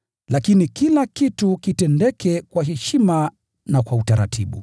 Lakini kila kitu kitendeke kwa heshima na kwa utaratibu.